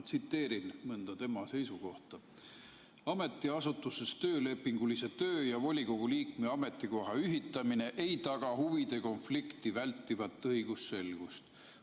Tsiteerin mõnda tema seisukohta: "Ametiasutuses töölepingulise töö ja volikogu liikme ametikoha ühitamine ei taga huvide konflikti vältivat õigusselgust.